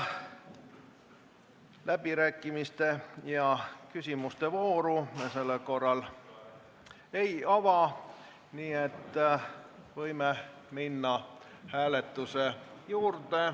" Läbirääkimiste ja küsimiste vooru me sellel korral ei ava, nii et võime minna hääletuse juurde.